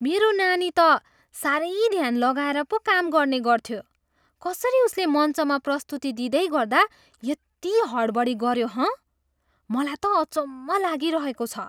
मेरो नानी त साह्रै ध्यान लगाएर पो काम गर्ने गर्थ्यो। कसरी उसले मञ्चमा प्रस्तुति दिँदैगर्दा यति हडबडी गऱ्यो, हँ? मलाई त अचम्म लागिरहेको छ।